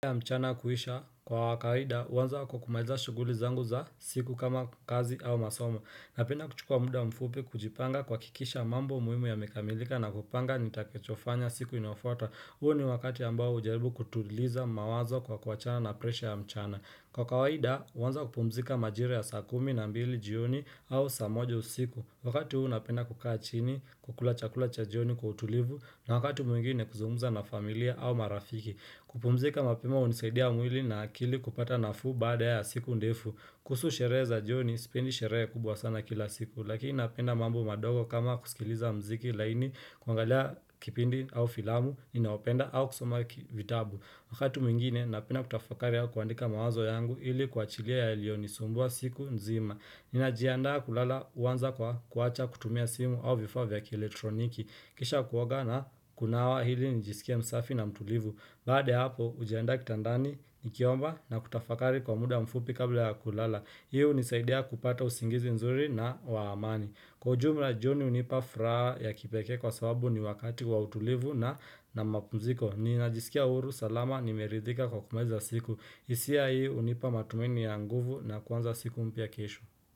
Kisha Kwa kawaida, hanza kwa kumaliza shuguli zangu za siku kama kazi au masomo. Napenda kuchukua muda mfupi kujipanga kwa kuhakikisha mambo muhimu ya yamemikamilika na kupanga nitakachofanya siku inayofota. Uo ni wakati ambao ujaribu kutuliza mawazo kwa kuachana na presha ya mchana. Kwa kawaida, huanza kupumzika majira ya saa kumi na mbili jioni au saa moja usiku. Wakati huu napenda kukaa chini kukula chakula cha jioni kwa utulivu na wakati mwingine kuzungumza na familia au marafiki. Kupumzika mapema unisaidia mwili na akili kupata nafuu bada ya siku ndefu kuhusu shereza joni, spendi shereya kubwa sana kila siku Lakini napenda mambo madogo kama kusikiliza mziki laini kuangalia kipindi au filamu, inaopenda au kusoma vitabu Akatu mingine, napenda kutafakari ya kuandika mawazo yangu ili kuachilia yaliyonisumbua usiku nzima Ninajiandaa kulala huwanza kwa kuacha kutumia simu au vifavya ki elektroniki Kisha kuoga na kunawa ili nijisikie msafi na mtulivu Bade hapo ujaenda kitandani ni kiomba na kutafakari kwa muda mfupi kabla ya kulala Hii unisaidia kupata usingizi nzuri na waamani Kwa ujumla jioni unipa furahaa ya kipeke kwa sababu ni wakati wa utulivu na mapunziko Ninajisikia huru salama nimeridhika kwa kumeza siku hisia hii unipa matumaini ya nguvu na kuanza siku mpia kesho.